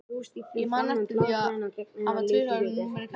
Ég man eftir því að hafa tvisvar sinnum verið kallaður út í